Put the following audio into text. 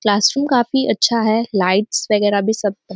classroom काफी अच्छा है लाइट्स वगेरा भी सब --